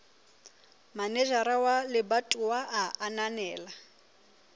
manejara wa lebatowa a ananela